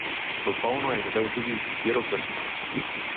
V polno je zadel tudi z izbiro prstana.